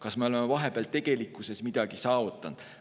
Kas me oleme vahepeal tegelikkuses midagi saavutanud?